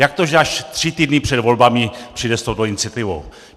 Jak to, že až tři týdny před volbami přijde s touto iniciativou?